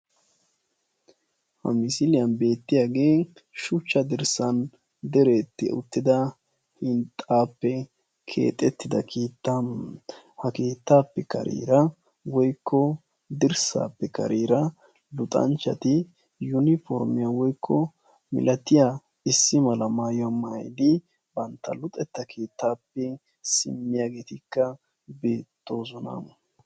ha misiliyani beetiyage shucha dirsani diretida hinxxa keetta ha ketappeka kareera luxxanchati issi mala maayuwa maayidi bantta luxxeta keettape simiyagettika beettosona.